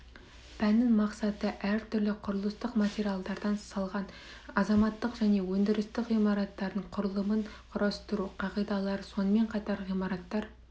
пәннің мақсаты әртүрлі құрылыстық материалдардан салған азаматтық және өндірістік ғимараттардың құрылымын құрастыру қағидалары сонымен қатар ғимараттар